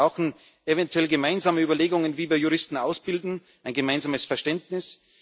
Wir brauchen eventuell gemeinsame Überlegungen, wie wir Juristen ausbilden, ein gemeinsames Verständnis.